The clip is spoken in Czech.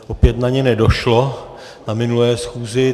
Opět na ně nedošlo na minulé schůzi.